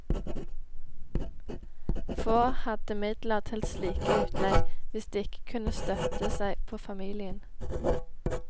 Få hadde midler til slike utlegg hvis de ikke kunne støtte seg på familien.